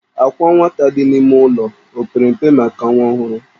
Àkwà nwata dị n'ime ime ụlọ o pere mpe maka nwa ọhụrụ?